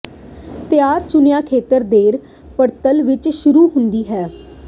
ਤਿਆਰ ਚੁਣਿਆ ਖੇਤਰ ਦੇਰ ਪਤਝੜ ਵਿੱਚ ਸ਼ੁਰੂ ਹੁੰਦਾ ਹੈ